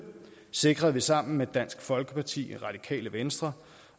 sikrede vi sammen med dansk folkeparti radikale venstre